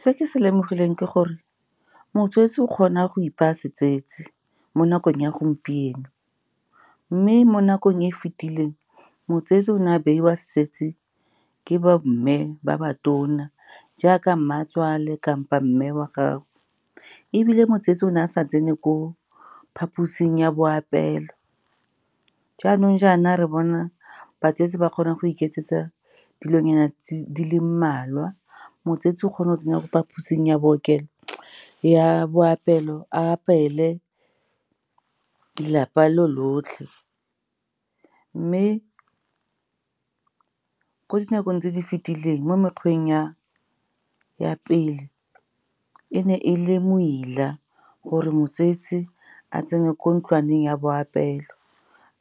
Se ke se lemogileng ke gore motsetsi o kgona go ipaya setsetsi mo nakong ya gompieno, mme mo nakong e fetileng, motsetsi o ne a beiwa setsetsi ke bomme ba ba tona jaaka mmatswale kapa mme wa gago. Ebile motsetsi o ne a sa tsene ko phaposing ya boapeelo. Jaanong jaana re bona batsetsi ba kgona go iketsetsa dilonyana di le mmalwa. Motsetsi o kgona go tsena mo phaposing ya boapeelo a apeele lelapa lo lotlhe. Mme ko dinakong tse di fetileng, mo mekgweng ya pele, e ne e le moila gore motsetsi a tsene ko ntlwaneng ya boapeelo